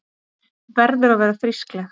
Verður að vera frískleg.